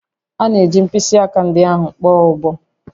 A ga-eji mkpịsị aka ndị ahụ kpọọ ụbọ